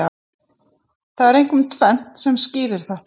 Það er einkum tvennt sem skýrir þetta.